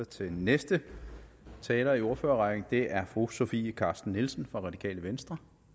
til næste taler i ordførerrækken og det er fru sofie carsten nielsen fra det radikale venstre